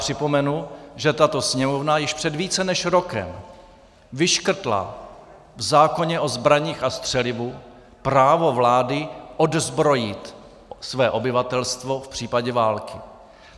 Připomenu, že tato Sněmovna již před více než rokem vyškrtla v zákoně o zbraních a střelivu právo vlády odzbrojit své obyvatelstvo v případě války.